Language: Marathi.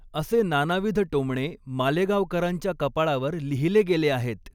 असे नानाविध टोमणे मालेगावकरांच्या कपाळावर लिहिले गेले आहेत.